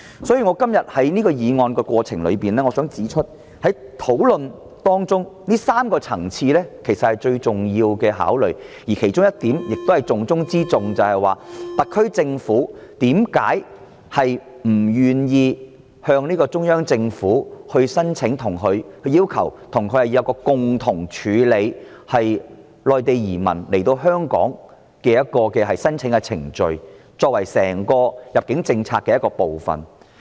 所以，在今天這項議案辯論的過程中，我想指出，這3個層次的問題是最重要的考慮，而其中一點，亦是重中之重的一點，就是特區政府為何不願意向中央政府提出要求，爭取共同處理內地移民來香港定居的申請程序，作為整個入境政策的一部分。